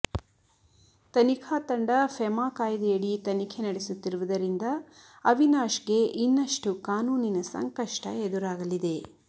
ತನಿಖಾ ತಂಡ ಫೆಮಾ ಕಾಯ್ದೆಯಡಿ ತನಿಖೆ ನಡೆಸುತ್ತಿರುವುದರಿಂದ ಅವಿನಾಶ್ಗೆ ಇನ್ನಷ್ಟು ಕಾನೂನಿನ ಸಂಕಷ್ಟ ಎದುರಾಗಲಿದೆ